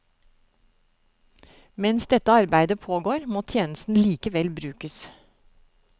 Mens dette arbeidet pågår, må tjenesten likevel brukes.